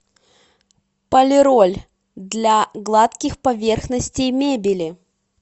полироль для гладких поверхностей мебели